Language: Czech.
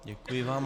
Děkuji vám.